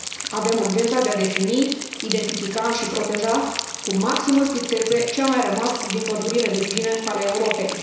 Avem urgența de a defini, identifica și proteja cu maximă strictețe ce a mai rămas din pădurile virgine ale Europei.